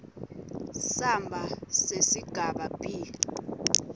samba sesigaba b